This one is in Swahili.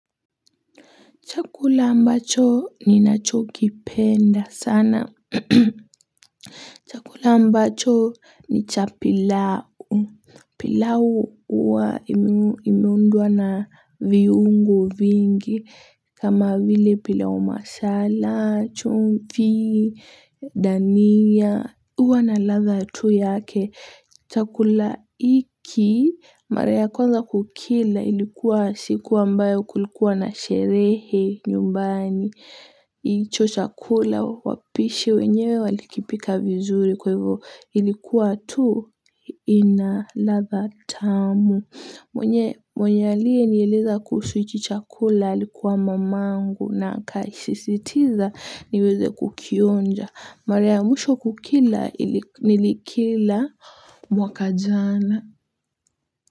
Chakula ambacho ni nacho kipenda sana. Kula ambacho ni cha pilau. Pilau uwa imeundwa na viungo vingi. Kama vile pilau masala, chumvi, dania. Huwa na ladha tu yake. Chakula iki, mara ya kwanza kukila ilikuwa siku ambayo kulikuwa na sherehe nyumbani. Icho chakula wapishi wenyewe walikipika vizuri kwa hivyo ilikuwa tu ina ladha tamu. Mwenye alie nieleza kuusuichi chakula ilikuwa mamangu na ikaissiitiza niweze kukionja. Mara ya mwisho kukila nilikila mwaka jana.